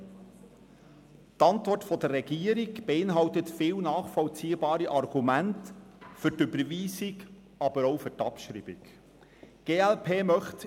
Die Antwort der Regierung beinhaltet viele nachvollziehbare Argumente für die Überweisung, aber auch für die Abschreibung des Postulats.